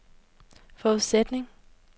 forudsætning